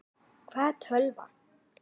Hvað er tölva?